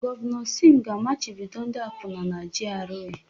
Gọvanọ Sim ga-amachibido ndị akwụna na GRA.